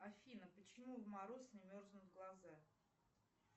афина почему в мороз не мерзнут глаза